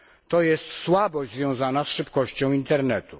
To jest słabość związana z szybkością internetu.